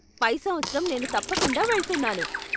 పై సంవత్సరం నేను తప్పకుండా వెళ్తున్నాను.